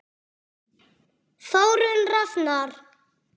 Þórunn Rafnar.